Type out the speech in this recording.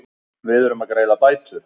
Við erum að greiða bætur.